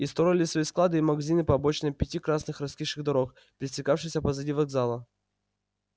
и строили свои склады и магазины по обочинам пяти красных раскисших дорог пересекавшихся позади вокзала